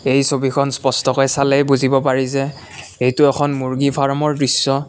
এই ছবিখন স্পষ্টকৈ চালে বুজিব পাৰি যে এইটো এখন মূৰ্গী ফাৰ্মৰ দৃশ্য।